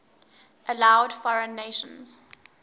allowed foreign nations